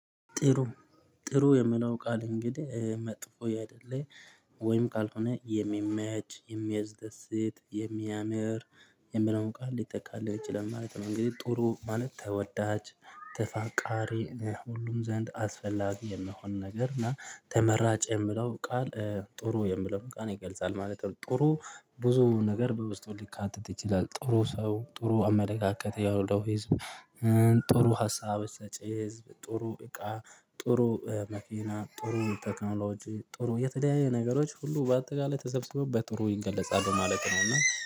ጥሩ ጥሩ የምለው ቃል እንግዲህ መጥፎ ያአይደለ ወይም ካልሆነ የሚመች የሚያስደስት የሚያምር የሚለውን ቃል ሊጠቃልል ይችላል ማለት ነው። እንግዲህ ጥሩ ማለት ተወዳች ተፋቃሪ ሁሉም ዘንድ አስፈላጊ የመሆን ነገር እና ተመራጭ የምለው ቃል ጥሩ የምለው ቃል ይገልጻል ማለት ነው። ጥሩ ብዙ ነገር በውስጡ ሊካተት ይችላል ጥሩ ሰው ጥሩ አመለካከት ያውለው ህዝብ ጥሩ ሀሳቦች ሰጪ ህዝብ ጥሩ እቃ ጥሩ መኪና ጥሩ ቴክኖሎጂ ጥሩ የተለያየ ነገሮች ሁሉ በአጠቃላይ ተሰብስበው በጥሩ ይገለጻሉ ማለት ነው። እና